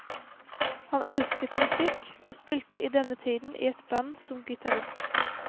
Han elsket musikk, og spilte i denne tiden i et band som gitarist.